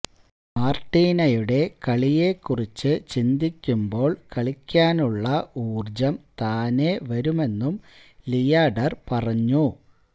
മാര്ട്ടിനയുടെ കളിയെക്കുറിച്ച് ചിന്തിക്കുമ്പോള് കളിക്കാനുള്ള ഊര്ജ്ജം താനേ വരുമെന്നും ലിയാഡര് പറഞ്ഞു